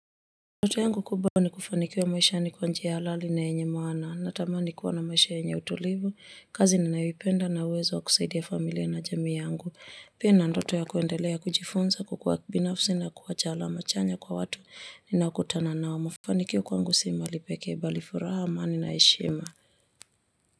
Ndoto yangu kubwa ni kufanikiwa maisha ni kwa njia halali na yenye maana natamani kuwa na maisha yenye utulivu, kazi ninayoipenda na uwezo wa kusaidia familia na jamii yangu. Pia na ndoto ya kuendelea kujifunza kukua binafsi na kuwacha alama chanya kwa watu ninakutana nao mafanikio kwangu si mwili peke bali furaha amani na heshima.